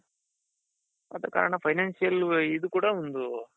ಅದರ ಕಾರಣ financial ಇದು ಕೂಡ ಒಂದು,